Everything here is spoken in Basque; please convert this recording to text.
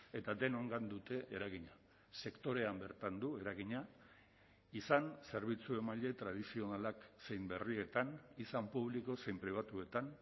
eta denongan dute eragina sektorean bertan du eragina izan zerbitzu emaile tradizionalak zein berrietan izan publiko zein pribatuetan